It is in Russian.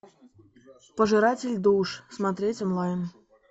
пожиратель душ смотреть онлайн